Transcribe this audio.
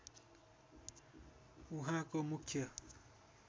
उहाँको मुख्य